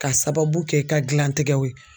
K'a sababu kɛ i ka gilantigɛw ye.